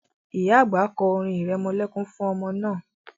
Ìyá àgbà kọ́ orin irẹmọlẹ́kún fún ọmọ náà